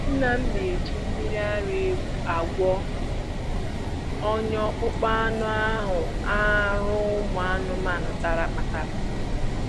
Nna m na-eji mmiri ara ewu agwọ ọnya akpụkpọ anụ ahụ arụ ụmụ ahụhụ tara kpatara